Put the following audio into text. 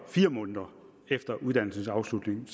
fire måneder efter uddannelsens afslutning